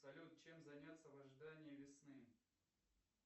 салют чем заняться в ожидании весны